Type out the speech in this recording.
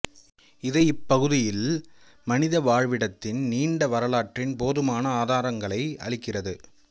இது இப்பகுதியில் மனித வாழ்விடத்தின் நீண்ட வரலாற்றின் போதுமான ஆதாரங்களை அளிக்கிறது